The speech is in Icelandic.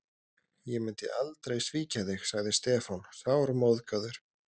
Ég myndi aldrei svíkja þig sagði Stefán, sármóðgaður.